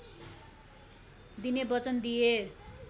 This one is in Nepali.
दिने बचन दिए